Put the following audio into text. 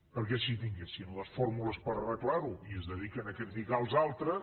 perquè si tinguessin les fórmules per arreglar ho i es dediquen a criticar els altres